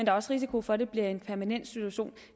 er også risiko for at det bliver en permanent situation